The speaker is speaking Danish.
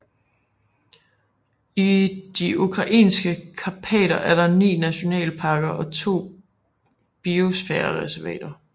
I de ukrainske karpater er der ni nationalparker og to biosfærereservater